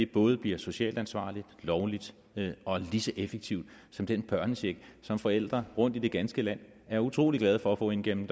både bliver socialt ansvarligt lovligt og lige så effektivt som den børnecheck som forældre rundt i det ganske land er utrolig glade for at få ind gennem